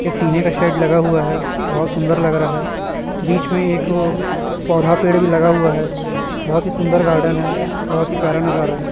एक टीने का शेड लगा हुआ है बहोत सुन्दर लग रहा है बीच में एक अ पौधा पेड़ भी लगा हुआ है बहोत ही सुन्दर गार्डेन है बहोत ही प्यारा नजारा है।